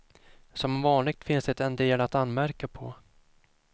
Som vanligt finns det en del att anmärka på.